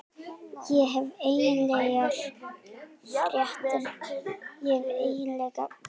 Ég hef einkennilegar fréttir að færa sagði hann og settist á rúmið hjá